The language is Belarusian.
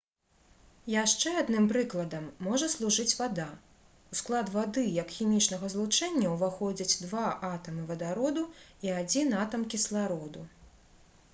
яшчэ адным прыкладам можа служыць вада у склад вады як хімічнага злучэння ўваходзяць два атамы вадароду і адзін атам кіслароду